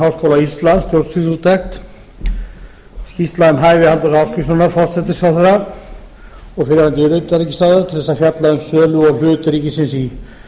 háskóla íslands stjórnsýsluúttekt skýrsla um hæfi halldórs ásgrímssonar forsætisráðherra og fyrrverandi utanríkisráðherra til að fjalla um sölu og hlut ríkisins í